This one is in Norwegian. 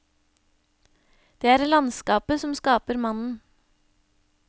Det er landskapet som skaper mannen.